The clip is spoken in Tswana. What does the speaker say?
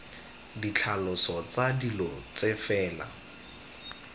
ditlhaloso tsa dilo tse fela